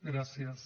gràcies